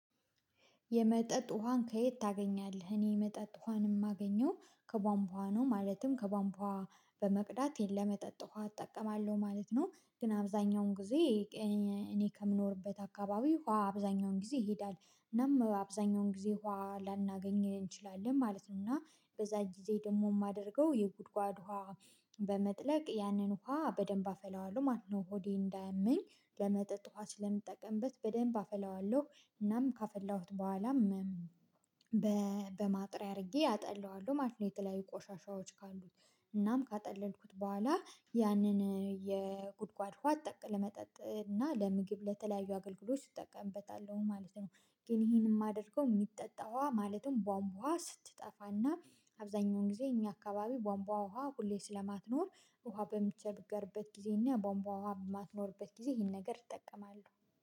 የመጠጥ ውሃን ከየት ታገኛለህ? እኔ የመጠጥ ውሃን የማገኘው ከቧንቧ ነው ማለትም ከቧንቧ በመቅዳት ለመጠጥ ውሃ እጠቀማለሁ ማለት ነው። ግን አብዛኛውን ጊዜ እኔ ከምኖርበት አካባቢ ውሃ አብዛኛውን ጊዜ ይሄዳል እናም አብዛኛውን ጊዜ ውሃ ላናገኝ እንችላለን ማለት ነው። እና በዛ ጊዜ ደግሞ የማደርገው የጉድጓድ ውሃ በመጥለቅ ያንን ውሃ በደንብ አፈላዋለሁ ማለት ነው። ሆዴን እንዳያመኝ ለመጠጥ ውሃ ስለምጠቀምበት በደንብ አፈላዋለሁ እናም ካፈላሁት በኋላም በማጥሪያ አድርጌ አጠላዋለሁ ማለት ነው። የተለያዩ ቆሻሻዎች ካሉት እናም ካጠለልኩት በኋላ ያንን የጉድጓድ ውሃ ጠቅላላ ለመጠጥ እና ለምግብ ለተለያዩ አገልግሎች እጠቀምበታለሁ ማለት ነው። ግን ይሄንን የማደርገው የሚጠጣው ማለትም ቧንቧ ስትጠፋና አብዛኛውን ጊዜ እኛ አካባቢ ቧንቧ ውሃ ሁሌ ስለማትኖር ውሃ በምቸገርበት ጊዜና ቧንቧ ውሃ በማትኖርበት ጊዜ ይሄን ነገር እጠቀማለሁ።